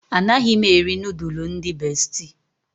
Anaghị m eri nudulu ndị bestị.